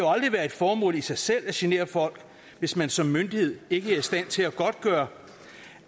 aldrig være et formål i sig selv at genere folk hvis man som myndighed ikke er i stand til at godtgøre